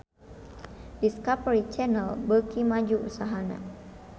Discovery Channel beuki maju usahana